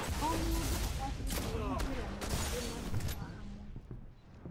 O mũndũ abatiĩ kwĩingĩrania harĩ matua ma hamwe.